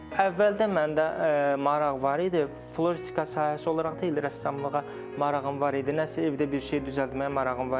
Əvvəldən məndə maraq var idi, floristika sahəsi olaraq deyil, rəssamlığa marağım var idi, nəsə evdə bir şey düzəltməyə marağım var idi.